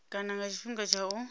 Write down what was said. kana nga tshifhinga tsha u